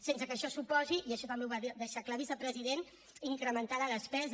sense que això suposi i això també ho va deixar clar vicepresident incrementar la despesa